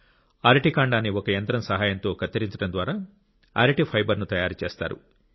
అరటి కాండాన్ని ఒక యంత్రం సహాయంతో కత్తిరించడం ద్వారా అరటి ఫైబర్ ను తయారు చేస్తారు